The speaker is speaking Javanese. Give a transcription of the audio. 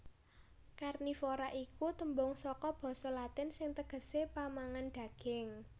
Karnivora iku tembung saka basa Latin sing tegesé pamangan daging